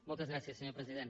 moltes gràcies senyor president